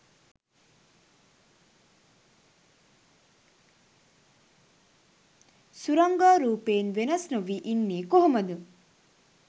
සුරංගා රූපයෙන් වෙනස් නොවී ඉන්නේ කොහොමද?